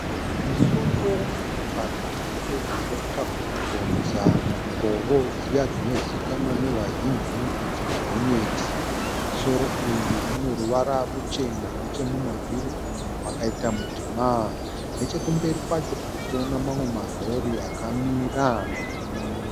Musoro wemotokari hombe dzinodhonza mangoro dziya dzinozivikanwa nevazhinji kuti gonyeti. Musoro uyu unoruvara ruchena nechemumavhiri umu makaita mutema. Nechekumberi kwacho tirikuona marori akamira.